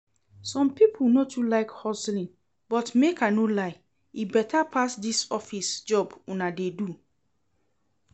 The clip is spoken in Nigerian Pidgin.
Some people no too like hustling but make I no lie, e better pass dis office job una dey do